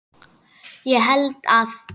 Ég held að